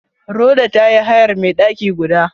Rhoda ta yi hayar mai daki guda.